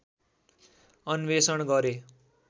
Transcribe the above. अन्वेषण गरे